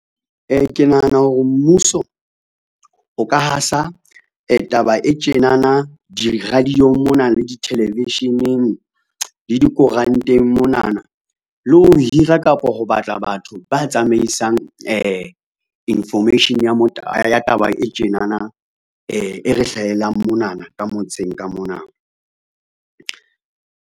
Ke nahana hore mmuso, o ka hasa taba e tjenana di-radio-ng mona, le di-television-eng, le dikoranteng monana, le o ho hira kapa ho batla batho ba tsamaisang information ya taba e tjenana e re hlahelang monana ka motseng ka mona.